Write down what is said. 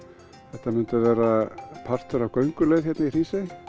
þetta myndi verða partur af gönguleið í Hrísey